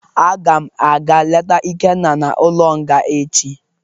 Agam aga leta Ikenna n'ulo nga echi